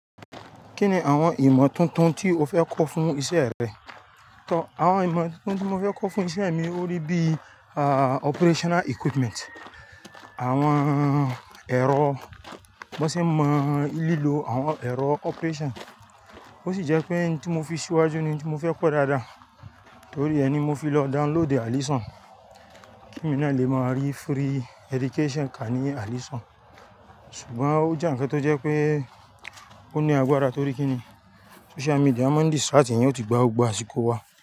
Kí ni àwọn ìmọ̀ tuntun tí o fẹ́ kọ́ fún ìṣe rẹ? Àwọn ìmọ̀ tuntun tí mo fẹ́ kọ́ fún ìṣe mi ó rí bí operational equipment, àwọn ẹ̀rọ, bí wọ́n ṣe mọ ìlilo àwọn ẹ̀rọ operation. Ó sì jẹ́ pé ohun tí mo fi síwájú ni ohun tí mo fẹ́ kọ́ dáadáa, torí ẹ ni mo fi lọ download Alison. Kí emi na lè máa rí free education ká ní Alison. Ṣùgbọ́n ó jẹ́ nǹkan tó jẹ́ pé ó ní agbára torí kí ni social media máa ń distract èèyàn ó tì gba gbogbo àsìkò wá.